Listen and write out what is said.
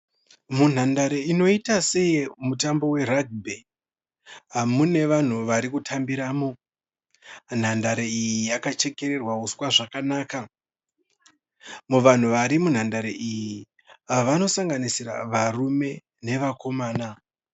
Munhandare inoita seyemutambo weragibhi mune vanhu vari kutambiramo. Nhandare iyi yakachekererwa uswa zvakanaka. Muvanhu vari munhandare iyi vanosanganisira varume nevakomana.